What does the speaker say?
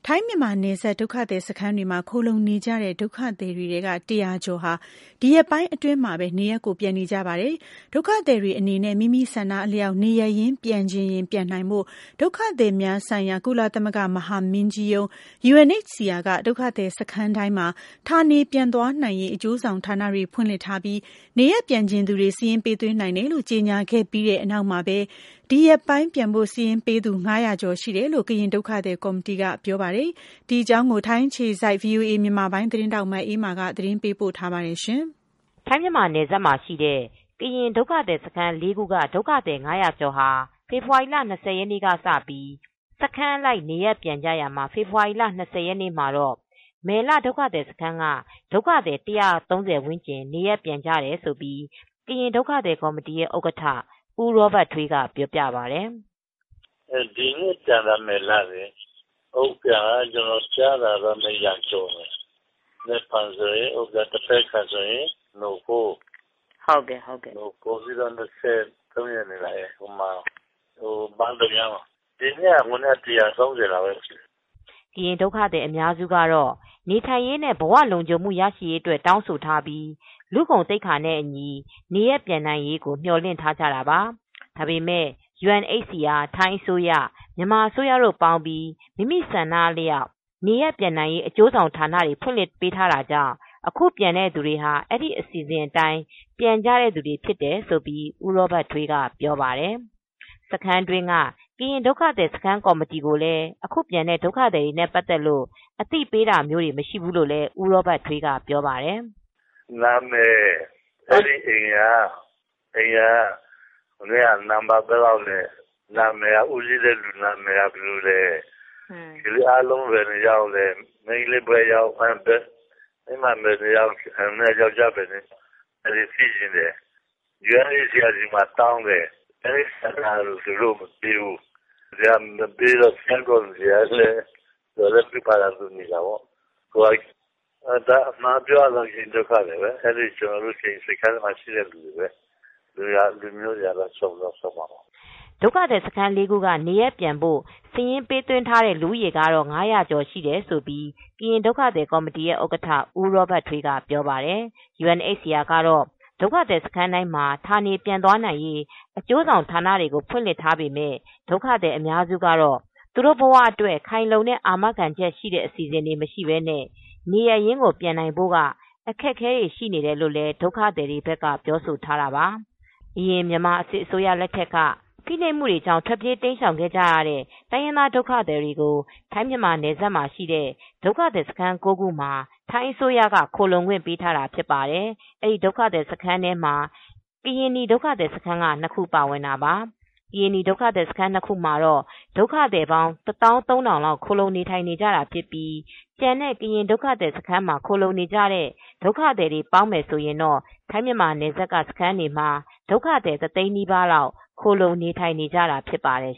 ိုင်း-မြန်မာနယ်စပ် ဒုက္ခသည်စခန်းတွေမှာ ခိုလှုံနကြတဲ့ ဒုက္ခသည်တွေထဲက ၁၀၀ ကျော်ဟာ ဒီရက်ပိုင်းအတွင်းမှာပဲ နေရပ်ကို ပြန်နေကြပါတယ်။ ဒုက္ခသည်တွေအနေနဲ့ မိမိဆန္ဒအလျောက် နေရပ်ရင်း ပြန်ချင်ရင် ပြန်နိုင်ဖို့ ဒုက္ခသည်များဆိုင်ရာ ကုလသမဂ္ဂ မဟာမင်းကြီးရုံး UNHCR က ဒုက္ခသည်စခန်းတိုင်းမှာ ဌာနေပြန်သွားနိုင်ရေး အကျိုးဆောင် ဌာနတွေ ဖွင့်လှစ်ထားပြီး နေရပ်ပြန်ချင်သူတွေ စာရင်းပေး သွင်းနိုင် တယ်လို့ ကြေညာခဲ့ပြီးတဲ့ နောက်မှာပဲ ဒီရက်ပိုင်း ပြန်ဖို့စာရင်းပေးသူ ၅၀၀ ကျော် ရှိခဲ့ တယ်လို့ ကရင်ဒုက္ခသည် ကော်မတီက ပြောပါတယ်။ ဒီအကြောင်း ထိုင်းအခြေစိုက် ဗွီအိုအေ မြန်မာပိုင်းသတင်းထောက် မအေးအေးမာက သတင်းပေးပို့ထားပါတယ်။ ထိုင်း- မြန်မာနယ်စပ်မှာရှိတဲ့ ကရင်ဒုက္ခသည်စခန်း ၄ ခုက ဒုက္ခသည် ၅၀၀ ကျော်ဟာ ဖေဖေါ်ဝါရီလ ၂၀ရက်နေ့ ကစပြီး စခန်းအလိုက် နေရပ်ပြန်ကြရာမှာ ဖေဖေါ်ဝါရီလ ၂၀ရက်နေ့ မှာတော့ မယ်လစခန်းက ဒုက္ခသည် ၁၃၀ ဝန်းကျင် လောက် နေရပ်ပြန်ကြ တယ်လို့ ကရင် ဒုက္ခသည်ကော်မတီရဲ့ဥက္ကဌ ဦးရောဘတ်ထွေး က ပြောပါတယ်။ " ဒီနေ့ပြန်တာ မယ်လ စခန်းလေ ၊အုန်းဖျန်ကတော့ ကျနော်ကြားတာကတော့ ၂၀၀ကျော်မယ်။ မနက်ဖြန် ဆိုရင် အုန်းဖျန် သဘက်ခါဆိုရင်တော့နို့ဖိုး နောက် ၂၃ရက်နေ့ ဆိုရင်တော့ ဘန့်ဒုံယန်း ဖြစ်မယ်။ ဒီနေ့က မယ်လက လူဦးရေ ၁၃၀ လောက်ရှိမယ်" ကရင် ဒုက္ခသည်အများစုကတော့ နေထိုင်ရေး နဲ့ ဘဝလုံခြုံမူ ရှိရေးအတွက် တောင်းဆို ထားပြီး လူဂုဏ်သိက္ခာနဲ့ အညီနေရပ်ပြန်နိုင်ရေး ကိုမျော်လင့်ထားကြတာပါ။ ဒါပေမယ့် UNHCR ထိုင်းအစိုးရ မြန်မာအစိုးရ တို့ပေါင်းပြီး မိမိဆန္ဒအလျောက် နေရပ်ပြန်နိုင်ရေးု အကျိုးဆောင်ဌာန တွေဖွင့်လှစ်ပေးထား တာကြောင့် အခုပြန်တဲ့သူတွေဟာ အဲဒီ အစီစဉ်တိုင်း ပြန်တဲ့သူတွေဖြစ်တယ်လို့ ဦးရောဘတ်ထွေး ကဆိုပါတယ်။ စခန်းတွင်းက ကရင်ဒုက္ခသည် ကေ်ာမတီကို လည်း အခုပြန်တဲ့ ဒုက္ခသည်တွေနဲ့ ပတ်သက်လို့ အသိပေးတာမျိုး မရှိဘူးလို့ လည်း ဦးရောဘတ်ထွေး ကပြောပါတယ်။ " နာမည် ၊အဲဒီ အိမ်က နံပတ်ဘယ်လောက်လဲ၊ အိမ်ထောင်ဦးစီးကဘယ်သူလဲ ၊လူအားလုံး ဘယ်နှစ်ယောက်လဲ၊ ယောင်္ကျားဘယ်နှစ်ယောက် မိန်းကလေး ဘယ်နှစ်ယောက် လဲ၊ စခန်းကောမတီ က တောင်းတယ် ၊ UNHCR ကမပေးဘူး အဲဒီတော့လည်း စခန်းကော်မတီ ကလည်း သူဟာသူပဲနေရတာပေါ့ လူတွေကတော့ ကျနော်တို့ ကရင်ပြည်က ဒုက္ခသည်တွေ ပါပဲ လူမျိုးတွေကတော့ စုံတာပေါ့" ဒုက္ခသည်စခန်း ၄ခု ကနေရပ်ပြန်ဖို့စာရင်းပေးသွင်းထားခဲ့သူတွေကတော့ လူဦးရေ ၅၀၀ကျော် ရှိတယ်လို့ ကရင်ဒုက္ခသည် ကော်မတီဥက္ကဌ ဦးရောဘတ်ထွေး ကပြောပါတယ်။ UNHCR ကတော့ ဒုက္ခသည်စခန်းတိုင်းမှာ ဌာနေပြန်သွားနိုင်ရေး အကျိုးဆောင်ဌာနတွေ ကို ဖွင့်လှစ်ထားပေမယ့် ဒုက္ခသည်အများစုကတော့ သူတို့ဘဝအတွက် ခိုင်လုံတဲ့ အာမခံချက်ရှိတဲ့ အစီစဉ်တွေ မရှိပဲနဲ့ နေရပ် ရင်းပြန်နိုင်ဖို့က အခက်အခဲ ရှိနေတယ်လို့လည်း ဒုက္ခသည်တွေ ဘက်ကပြောဆိုခဲ့တာပါ။ အရင် မြန်မာစစ်အစိုးရ လက်ထက်က ဖိနှိပ်မှုတွေကြောင့် ထွက်ပြေး တိမ်းရှောင်ခဲ့ ကြရတဲ့ တိုင်းရင်းသားဒုက္ခသည်တွေကို ထိုင်း-မြန်မာနယ်စပ်မှာရှိတဲ့ ဒုက္ခသည်စခန်း ၉ ခုမှာ ထိုင်းအစိုးရက ခိုလှုံခွင့် ပေး ထားတာဖြစ်ပါတယ်။ ဒီဒုက္ခစခန်း၉ခု ထဲမှာ့ကရင်နီဒုက္ခသည်စခန်း ၂ခုပါဝင်တာပါ။ ကရင်နီဒုက္ခသည်စခန်း ၂ခုမှာတော့ ဒုက္ခသည်ပေါင်း ၁သောင်း ၃ထောင်ကျော်ခို လှုံနေထိုင်နေတာဖြစ်ပြီးကျန်တဲ့ ကရင်ဒုက္ခသည်စခန်းမှာခိုလှုံ နေတဲ့ ဒုက္ခသည်တွေအားလုံးပေါင်းမယ် ဆိုရင်တော့ ထိုင်းမြန်မာနယ်စပ်က စခန်းတွေမှာ ဒုက္ခသည် တသိန်းနီးပါးလောက် ခိုလှုံနေထိုင်နေကြတာ ဖြစ်ပါတယ်